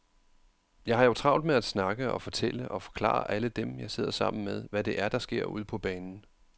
Jeg har jo travlt med at snakke og fortælle og forklare alle dem, jeg sidder sammen med, hvad det er, der sker ude på banen.